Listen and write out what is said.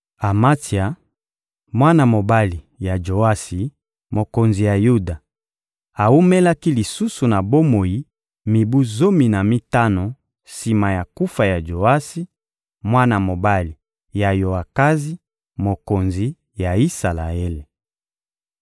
Amatsia, mwana mobali ya Joasi, mokonzi ya Yuda, awumelaki lisusu na bomoi mibu zomi na mitano sima na kufa ya Joasi, mwana mobali ya Yoakazi, mokonzi ya Isalaele.